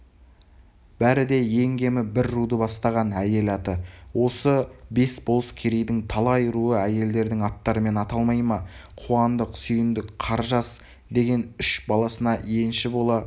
бәрі де ең кемі бір руды бастаған әйел аты осы бес болыс керейдің талай руы әйелдердің аттарымен аталмай ма қуандық сүйіндік қаржас деген үш баласына енші бола